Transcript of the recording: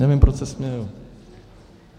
Nevím, proč se smějou.